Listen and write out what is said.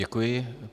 Děkuji.